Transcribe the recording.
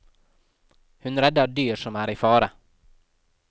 Hun redder dyr som er i fare.